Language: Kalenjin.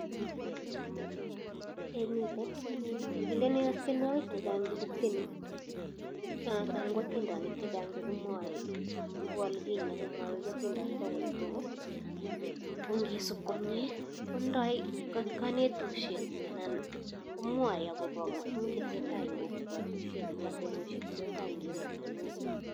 Eee miten, ngilin ikas tienwokik chechang che kitieni anan ko atindonik chechang che kimwoe kou ole kinye kimwaiwech atindonik akot kogo, ko ngisuup komnye kotindoi kanetutishek anan akobo tuguuk che tesetai eng kokwatushiek, ateboshiek che tesetai eng emotinwek.